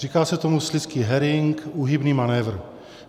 Říká se tomu slizký herring, úhybný manévr.